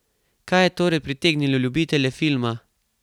Kaj je torej pritegnilo ljubitelje filma?